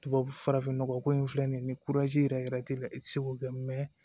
Tubabu farafin nɔgɔ ko in filɛ nin ye ni yɛrɛ t'e la i ti se k'o kɛ